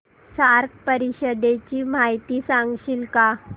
SAARC परिषदेची माहिती सांगशील का